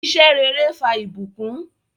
Iṣẹ̀ rẹ̀rẹ̀ fà ibùkún